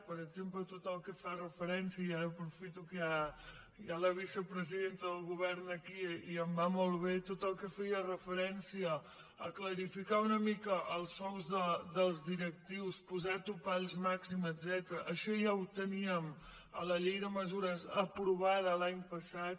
per exemple tot el que fa referència i ara aprofito que hi ha la vicepresidenta del govern aquí i em va molt bé a clarificar una mica els sous dels directius posar topalls màxims etcètera això ja ho teníem en la llei de mesures aprovada l’any passat